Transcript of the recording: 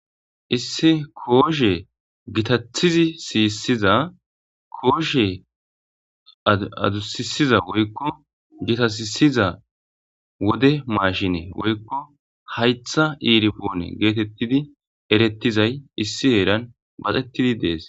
issi kooshe gitathizi siyissiza kooshe adusisiza woykko gitaisiza wode maashine woykko haytha iirpoone geetettidi erettizay issi heeran baxettidi dees